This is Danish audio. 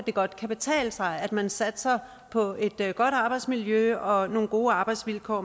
godt kan betale sig at man satser på et godt arbejdsmiljø og nogle gode arbejdsvilkår